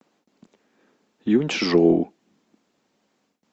юнчжоу